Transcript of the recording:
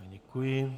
Děkuji.